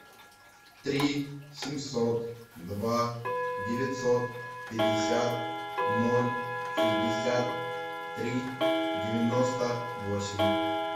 три семьсот два девятьсот пятьдесят ноль шестьдесят три девяносто восемь